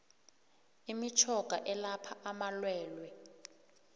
imitjhoga elapha amalwelwe